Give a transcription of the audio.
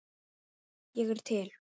Ég er til